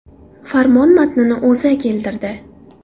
Farmon matnini O‘zA keltirdi .